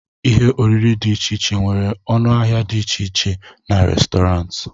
ihe oriri dị iche iche nwere ọnụ ahịa dị iche iche na Restọrantị